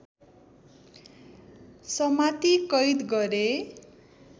समाती कैद गरे